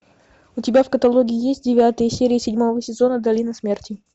у тебя в каталоге есть девятая серия седьмого сезона долина смерти